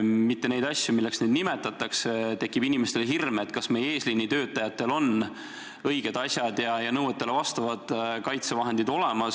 neid asju, mis ei ole päris need, milleks neid nimetatakse, siis inimestel tekib hirm ja küsimus, kas meie eesliinitöötajatel on õiged ja nõuetele vastavad kaitsevahendid olemas.